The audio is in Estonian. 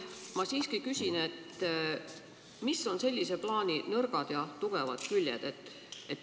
Ma siiski küsin, mis on sellise plaani nõrgad ja tugevad küljed.